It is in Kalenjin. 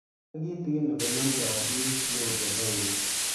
Kimwae kitigin ole namdoi piik neutropenia